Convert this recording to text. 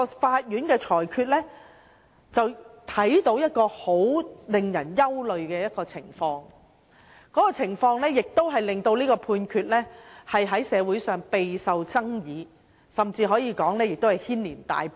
這項裁決讓我們看到一個令人十分憂慮的情況，而這種情況亦使這項裁決在社會上備受爭議，甚至可以說是引起軒然大波。